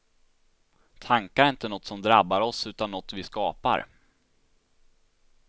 Tankar är inte något som drabbar oss, utan något vi skapar.